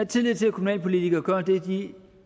tillid til at kommunalpolitikere gør det de